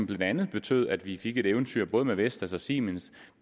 blandt andet betød at vi fik et eventyr både med vestas og siemens